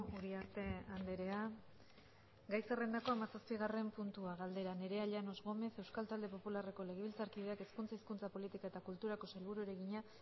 uriarte andrea gai zerrendako hamazazpigarren puntua galdera nerea llanos gómez euskal talde popularreko legebiltzarkideak hezkuntza hizkuntza politika eta kulturako sailburuari egina